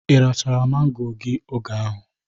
Irachara mangoro gi oge ahụ?